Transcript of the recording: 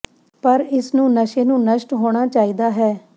ਪਰ ਇਸ ਨੂੰ ਨਸ਼ੇ ਨੂੰ ਨਸ਼ਟ ਹੋਣਾ ਚਾਹੀਦਾ ਹੈ